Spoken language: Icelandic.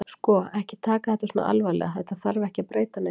Sko. ekki taka þetta svona alvarlega. þetta þarf ekki að breyta neinu.